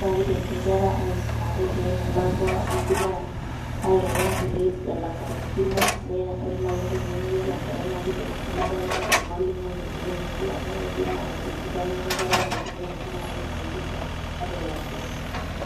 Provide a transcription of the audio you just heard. Na keidim si nkera aisumata etii enelakwa. Neidim airoro onkuli elakwanikino, ne ore nai entoki nemeyiolo enkerai na kiidim aikilikwana ormalimui etii ene tii. Na kiidim aikilikwana enkae kerai etii ene tii na kisaidika ata elakwa.